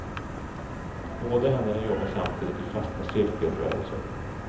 Båda händerna jobbar samtidigt i fasta cirkelrörelser.